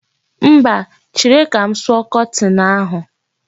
Mba, chere ka m sụọ kọtin ahụ.